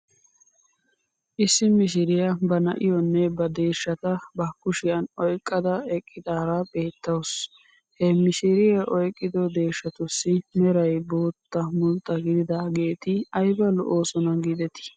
Issi mishiriyaa ba na'"iyoonne ba deeshshata ba kushiyan oyqqada eqqidaara beettawus. He mishiriyaa oyqqido deeshshatussi meray boottaa mulxxa gididaageeti ayba lo'oosona giidetii!